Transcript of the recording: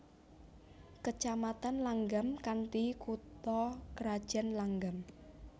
Kecamatan Langgam kanthi kutha krajan Langgam